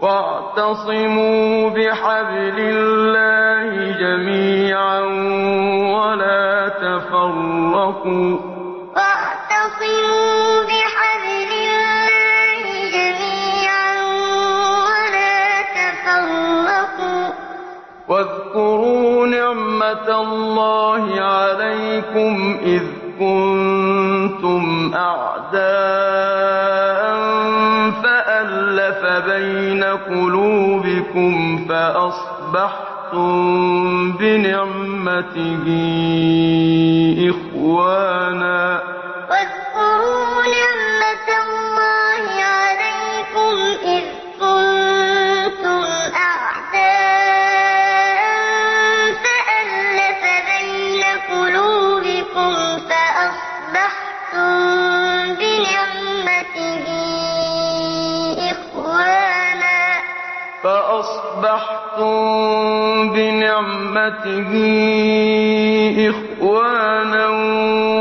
وَاعْتَصِمُوا بِحَبْلِ اللَّهِ جَمِيعًا وَلَا تَفَرَّقُوا ۚ وَاذْكُرُوا نِعْمَتَ اللَّهِ عَلَيْكُمْ إِذْ كُنتُمْ أَعْدَاءً فَأَلَّفَ بَيْنَ قُلُوبِكُمْ فَأَصْبَحْتُم بِنِعْمَتِهِ إِخْوَانًا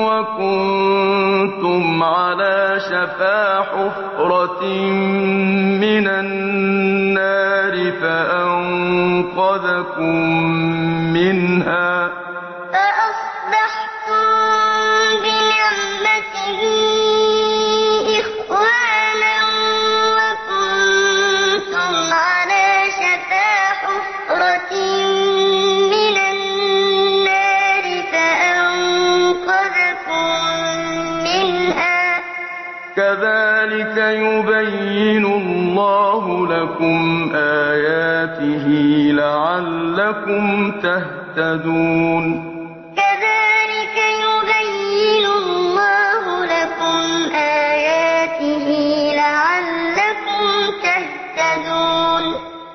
وَكُنتُمْ عَلَىٰ شَفَا حُفْرَةٍ مِّنَ النَّارِ فَأَنقَذَكُم مِّنْهَا ۗ كَذَٰلِكَ يُبَيِّنُ اللَّهُ لَكُمْ آيَاتِهِ لَعَلَّكُمْ تَهْتَدُونَ وَاعْتَصِمُوا بِحَبْلِ اللَّهِ جَمِيعًا وَلَا تَفَرَّقُوا ۚ وَاذْكُرُوا نِعْمَتَ اللَّهِ عَلَيْكُمْ إِذْ كُنتُمْ أَعْدَاءً فَأَلَّفَ بَيْنَ قُلُوبِكُمْ فَأَصْبَحْتُم بِنِعْمَتِهِ إِخْوَانًا وَكُنتُمْ عَلَىٰ شَفَا حُفْرَةٍ مِّنَ النَّارِ فَأَنقَذَكُم مِّنْهَا ۗ كَذَٰلِكَ يُبَيِّنُ اللَّهُ لَكُمْ آيَاتِهِ لَعَلَّكُمْ تَهْتَدُونَ